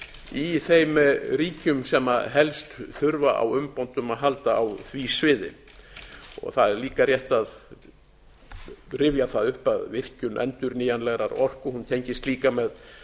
í þeim ríkjum sem helst þurfa á umbótum að halda á því sviði það er líka rétt að rifja það upp að virkjun endurnýjanlegrar orku tengist líka með